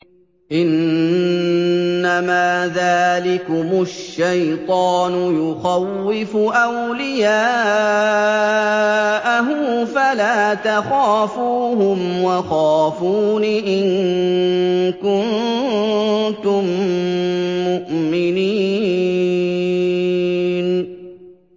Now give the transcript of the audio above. إِنَّمَا ذَٰلِكُمُ الشَّيْطَانُ يُخَوِّفُ أَوْلِيَاءَهُ فَلَا تَخَافُوهُمْ وَخَافُونِ إِن كُنتُم مُّؤْمِنِينَ